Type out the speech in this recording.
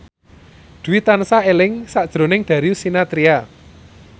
Dwi tansah eling sakjroning Darius Sinathrya